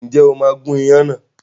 Ǹjẹ́ o máa gun ìyàn náà?